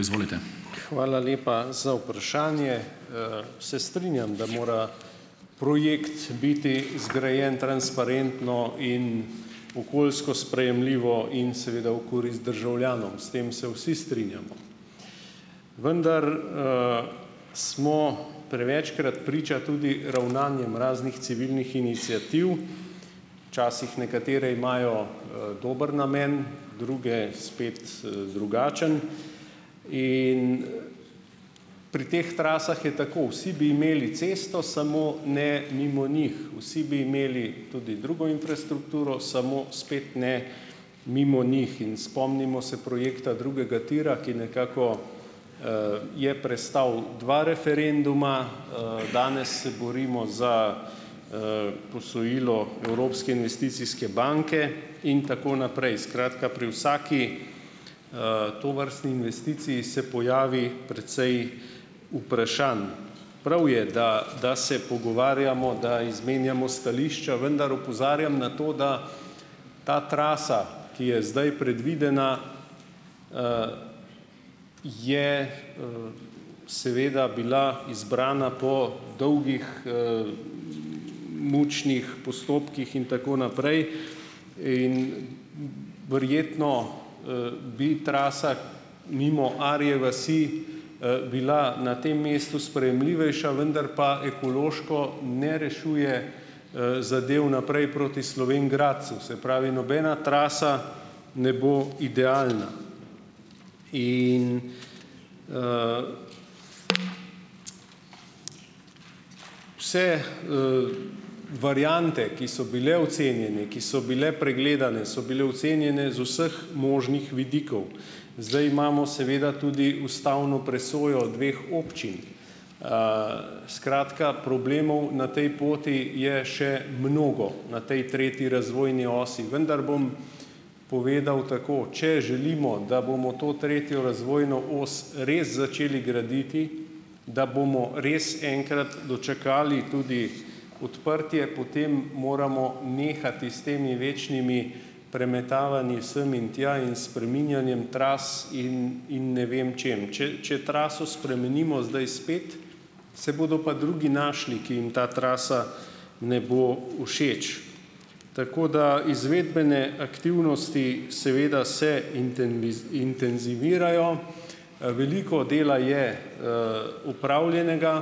Izvolite. Hvala lepa za vprašanje. Se strinjam, da mora projekt biti zgrajen transparentno in okoljsko sprejemljivo in seveda v korist državljanom, s tem se vsi strinjamo. Vendar, smo prevečkrat priča tudi ravnanjem raznih civilnih iniciativ . Včasih nekatere imajo, dober namen, druge spet, drugačen in, pri teh trasah je tako - vsi bi imeli cesto, samo ne mimo njih. Vsi bi imeli tudi drugo infrastrukturo, samo spet ne mimo njih. In spomnimo se projekta drugega tira, ki nekako, je prestal dva referenduma, danes se borimo za, posojilo Evropske investicijske banke in tako naprej. Skratka pri vsaki, tovrstni investiciji se pojavi precej vprašanj. Prav je, da da se pogovarjamo, da izmenjamo stališča, vendar opozarjam na to, da ta trasa, ki je zdaj predvidena, je, seveda bila izbrana po dolgih, mučnih postopkih in tako naprej in, verjetno, bi trasa mimo Arje vasi, bila na tem mestu sprejemljivejša, vendar pa ekološko ne rešuje, zadev naprej proti Slovenj Gradcu. Se pravi, nobena trasa ne bo idealna in, vse, variante, ki so bile ocenjene, ki so bile pregledane, so bile ocenjene z vseh možnih vidikov. Zdaj imamo seveda tudi ustavno presojo dveh občin. Skratka, problemov na tej poti je še mnogo na tej treti razvojni osi, vendar bom povedal tako - če želimo, da bomo to tretjo razvojno os res začeli graditi, da bomo res enkrat dočakali tudi odprtje, potem moramo nehati s temi večnimi premetavanji sem in tja in spreminjanjem tras in in ne vem čim. Če če traso spremenimo zdaj spet, se bodo pa drugi našli, ki jim ta trasa ne bo všeč. Tako da izvedbene aktivnosti seveda se intenzivirajo, veliko dela je, opravljenega,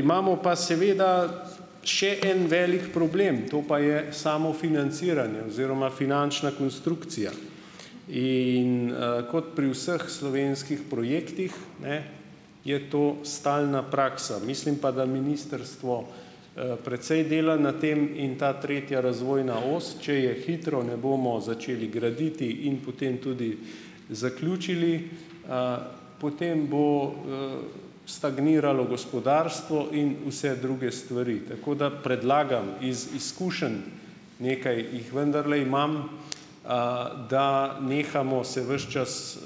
imamo pa seveda še en velik problem, to pa je samo financiranje oziroma finančna konstrukcija. In, kot pri vseh slovenskih projektih, ne, je to stalna praksa. Mislim pa, da ministrstvo, precej dela na tem in ta tretja razvojna os, če je hitro ne bomo začeli graditi in potem tudi zaključili, potem bo, stagniralo gospodarstvo in vse druge stvari. Tako da predlagam iz izkušenj, nekaj jih vendarle imam, da nehamo se ves čas,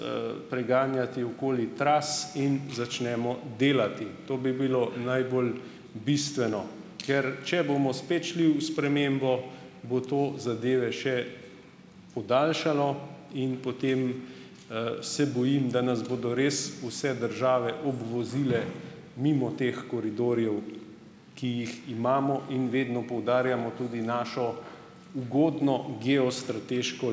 preganjati okoli tras in začnemo delati. To bi bilo najbolj bistveno. Ker če bomo spet šli v spremembo, bo to zadeve še podaljšalo in potem, se bojim, da nas bodo res vse države obvozile mimo teh koridorjev, ki jih imamo in vedno poudarjamo tudi našo ugodno geostrateško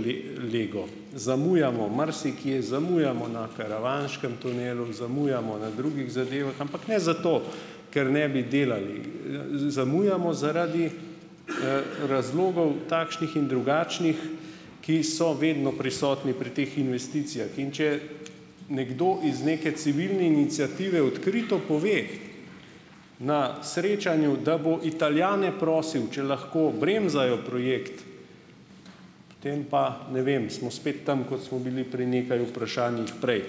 lego. Zamujamo marsikje, zamujamo na karavanškem tunelu, zamujamo na drugih zadevah. Ampak ne zato, ker ne bi delali. Zamujamo zaradi, razlogov , takšnih in drugačnih, ki so vedno prisotni pri teh investicijah. In če nekdo iz neke civilne iniciative odkrito pove na srečanju, da bo Italijane prosil, če lahko bremzajo projekt, potem pa ne vem, smo spet tam, kot smo bili pri nekaj vprašanjih prej.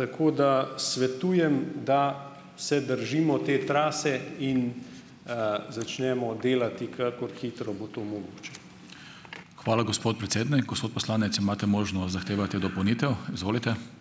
Tako da svetujem, da se držimo te trase in, začnemo delati, kakor hitro bo to mogoče. Hvala, gospod predsednik, gospod poslanec, imate možnost zahtevati dopolnitev, izvolite.